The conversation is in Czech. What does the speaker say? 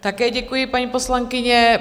Také děkuji, paní poslankyně.